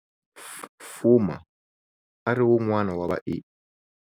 Fuma a ri wun'wana wa vae.